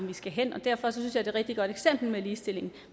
vi skal i derfor synes er et rigtig godt eksempel med ligestillingen